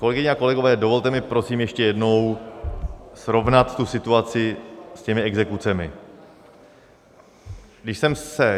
Kolegyně a kolegové, dovolte mi prosím ještě jednou srovnat tu situaci s těmi exekucemi.